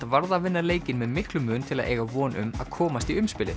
varð að vinna leikinn með miklum mun til að eiga von um að komast í